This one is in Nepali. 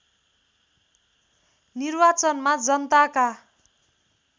निर्वाचनमा जनताका